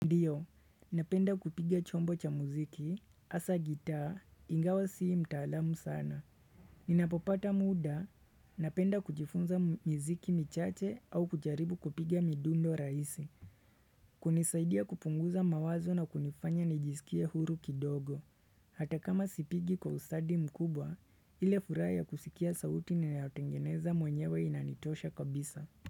Ndio, napenda kupiga chombo cha muziki, hasa gitaa, ingawa sii mtaalamu sana. Ninapopata muda, napenda kujifunza miziki michache au kujaribu kupiga midundo raisi. Kunisaidia kupunguza mawazo na kunifanya nijiskie huru kidogo. Hata kama sipigi kwa usadi mkubwa, ile furaha ya kusikia sauti ni naotengeneza mwenyewe inanitosha kabisa.